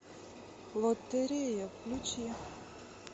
лотерея включи